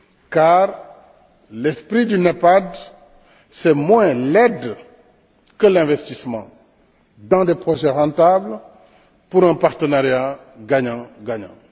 car l'esprit du NEPAD, c'est moins l'aide que l'investissement dans des projets rentables pour un partenariat gagnant gagnant.